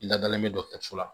I ladalen bɛ dɔkɔtɔrɔso la